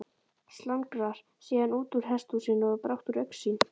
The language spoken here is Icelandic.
slangrar síðan útúr hesthúsinu og er brátt úr augsýn